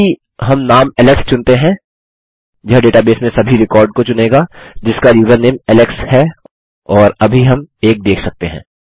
अब यदि हम नाम एलेक्स चुनते हैं यह डेटाबेस में सभी रिकॉर्ड को चुनेगा जिसका यूज़रनेम एलेक्स है और अभी हम एक देख सकते हैं